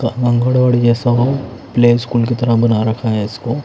play school की तरह बना रखा है इसको--